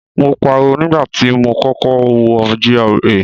Mo pariwo nígbà tí mo kọ́kọ́ wọ GRA.